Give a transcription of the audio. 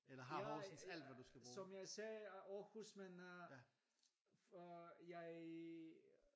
Jeg som jeg sagde er Aarhus min øh jeg